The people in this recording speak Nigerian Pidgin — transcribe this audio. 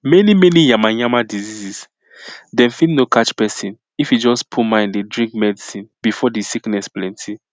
many many yamayama diseases dem fit no catch pesin if e just put mind dey drink medicine before di sickness plenti